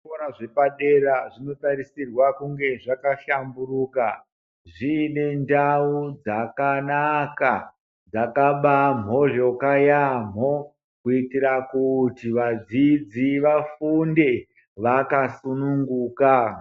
Zvikora zvepadera zvinotarisirwa kunge zvakahlamburuka zviine ndau dzakanaka dzakabamhozvoka yaamho kuitira kuti vadzidzi vafunde vakasukanunguka.